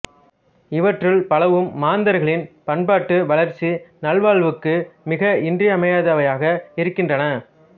இவற்றுள் பலவும் மாந்தர்களின் பண்பாடு வளர்ச்சி நல்வாழ்வுக்கு மிக இன்றியமையாதவையாக இருக்கின்றன